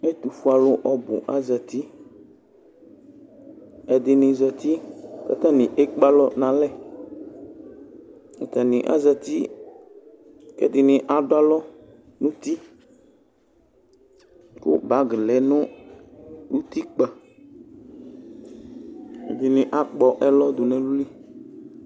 Ɛtʋ fue alʋ ɔbʋ azatiƐdɩnɩ zati katanɩ ekpe alɔ nalɛ, atanɩ azati, ɛdɩnɩ adʋ alɔ nuti, kʋ bag lɛ nʋ utikpǝƐdɩnɩ akpɔ ɛlɔ dʋ n' ɛlʋ li